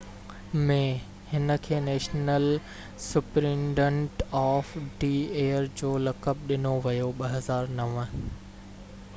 2009 ۾ هن کي national superintendent of the year جو لقب ڏنو ويو